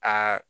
Aa